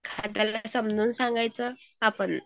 हा त्याला समजावून सांगायचं आपणच